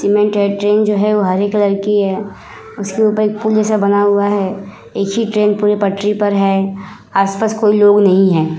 हरे colour की है। उसके ऊपर एक फूल जैसा बना हुआ है। एक ही ट्रेन पूरे पटरी पर है। आस-पास कोई लोग नहीं है।